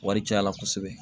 Wari caya la kosɛbɛ